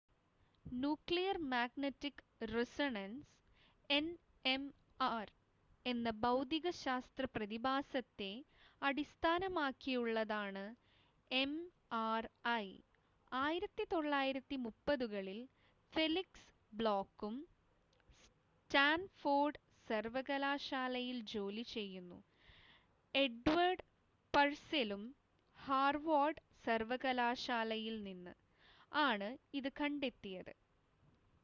Nuclear magnetic resonance NMR എന്ന ഭൗതികശാസ്ത്ര പ്രതിഭാസത്തെ അടിസ്ഥാനമാക്കിയുള്ളതാണ് എം‌ആർ‌ഐ. 1930-കളിൽ ഫെലിക്സ് ബ്ലോക്കും സ്റ്റാൻഫോർഡ് സർവകലാശാലയിൽ ജോലി ചെയ്യുന്നു എഡ്വേർഡ് പർസെലും ഹാർവാർഡ് സർവകലാശാലയിൽ നിന്ന് ആണ് ഇത് കണ്ടെത്തിയത്